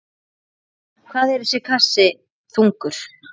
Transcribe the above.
Hvað er hver kassi þungur?